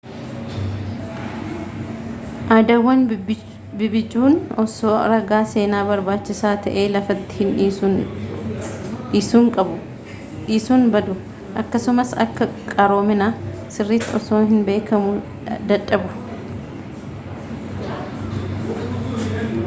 aadaawwan bibbicuun osoo ragaa seenaa barbaachisaa ta'e lafatti hin dhiisin badu akkasumas akka qaroomina siritti osoo hin beekamuu dadhabu